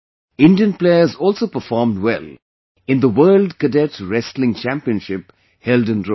Indian players also performed well in the World Cadet Wrestling Championship held in Rome